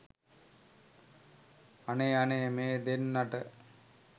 අනේ අනේ මේ දෙන්නට